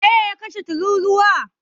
waye ya kashe tururuwa?